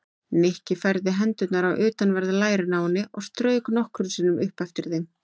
Nikki færði hendurnar á utanverð lærin á henni og strauk nokkrum sinnum upp eftir þeim.